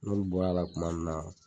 N'olu bɔra la kuma min na